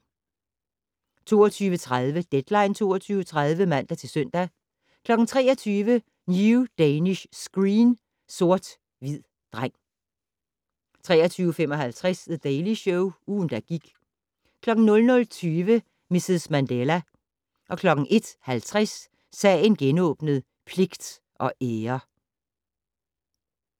22:30: Deadline 22.30 (man-søn) 23:00: New Danish Screen: Sort hvid dreng 23:55: The Daily Show - ugen, der gik 00:20: Mrs. Mandela 01:50: Sagen genåbnet: Pligt og ære